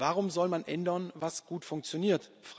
Warum soll man ändern was gut funktioniert?